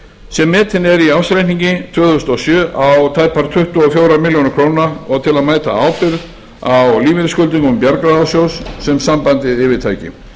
sem metin er í ársreikningi tvö þúsund og sjö á tæpar tuttugu og fjórar milljónir króna og til að mæta áhrifum á lífeyrisskuldbindingum bjargráðasjóðs sem sambandið yfirtæki